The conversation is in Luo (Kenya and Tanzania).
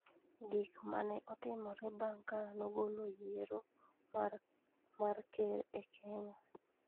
Gik ma ne Otimore Bang ' Ka Nogolo Yiero mar Ker e Kenya